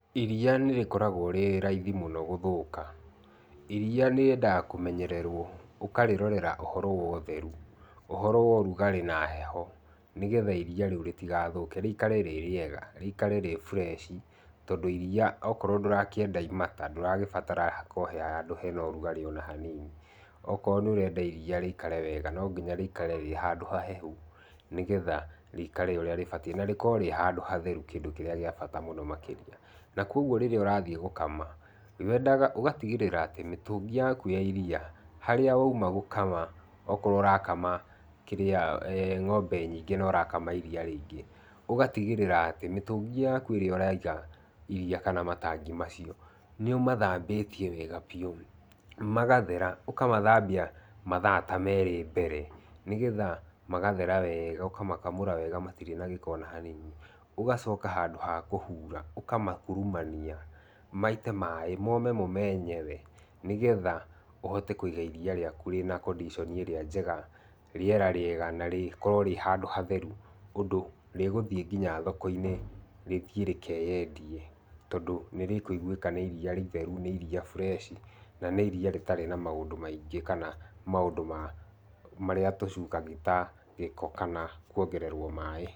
Iria nĩrĩkoragwo rĩ raithi mũno gũthũka. Iria rĩendaga mũno kũmenyererwo. Ukarĩrorera ũhoro wa ũtheru, ũhoro wa ũrugarĩ na heho nĩ getha iria rĩu rĩtigathũke rĩikare rĩ rĩega, rĩikare rĩ fresh. Tondũ iria okorwo ndũrakĩenda imata ndũragĩbatara hakorwo he handũ hena ũrugarĩ ona hanini. Okorwo nĩ ũrenda iria rĩikare wega, no nginya rĩikare rĩ handũ hahehu nĩ getha rĩikare ũrĩa rĩbatiĩ, na rĩkorwo rĩ handũ hatheru kĩndũ kĩrĩa gĩa bata mũno makĩria. Na kogwo rĩrĩa ũrathiĩ gũkama, wendaga ũgatigĩrĩra atĩ mĩtũngi yaku ya iria, harĩa wauma gũkama okorwo ũrakama ng'ombe nyingĩ na ũrakama iria rĩingĩ, ũgatigĩrĩra atĩ mĩtũngi yaku ĩrĩa ũraiga iria kana matangi macio, nĩ umathambĩtie wega biu magathera. Ukamathambia mathaa ta merĩ mbere, nĩ getha magathera wega ũkamakamũra wega matirĩ na gĩko ona hanini. Ũgacoka handũ ha kũhura ũkamakurumania maite mai mome mo menyewe, nĩ getha ũhote kũiga iria rĩaku rĩna condition ĩrĩa njega, rĩera rĩega na rĩkorwo rĩ handũ hatheru, ũndũ rĩgũthiĩ nginya thoko-inĩ rĩthiĩ rĩkeyendie tondũ nĩrĩkũigwĩka nĩ iria rĩtheru. Nĩ iria fresh na nĩ iria rĩtarĩ na maũndũ maingĩ kana maũndũ marĩa tũcungaga ta gĩko kana kwongererwo maaĩ.